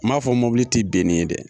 N m'a fɔ mobili tɛ ben n'i ye dɛ.